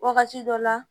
Wagati dɔ la